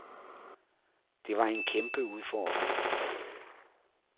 Det var en kæmpe udfordring.